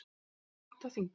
Það er þröngt á þingi